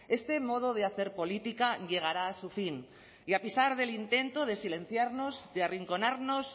este modo de hacer política llegará a su fin y a pesar del intento de silenciarnos de arrinconarnos